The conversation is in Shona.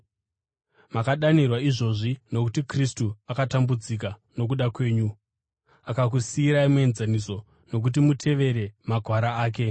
Makadanirwa izvozvi, nokuti Kristu akatambudzika nokuda kwenyu, akakusiyirai muenzaniso, kuti mutevere makwara ake.